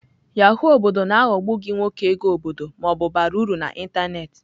Yahoo obodo na-aghọgbu gị nwoke ego obodo ma ọ bụ bara uru na ịntanetị.